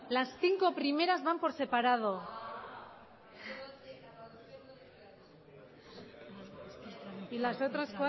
las cinco primeras van por separado y las otras